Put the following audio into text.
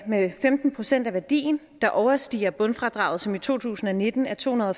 med femten procent af værdien der overstiger bundfradraget som i to tusind og nitten er tohundrede